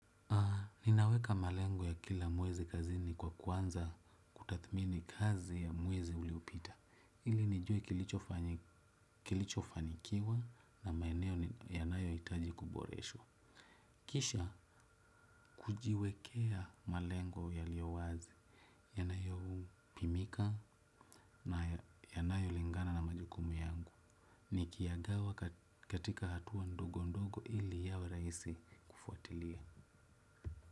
Ninaweka malengo ya kila mwezi kazini kwa kuanza kutathmini kazi ya mwezi uliopita. Ili nijue kilicho fanikiwa na maeneo yanayohitaji kuboreshwa. Kisha kujiwekea malengo yaliowazi. Yanayopimika na yanayolingana na majukumu yangu. Nikiyagawa katika hatua ndogo ndogo ili yawe rahisi kufuatilia.